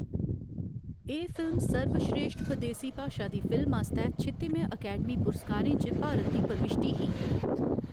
एह्‌‌ फिल्म सर्वस्रेश्ठ बदेसी भाशा दी फिल्म आस्तै छित्तिमें अकैडमी पुरस्कारें च भारत दी प्रविश्टी ही।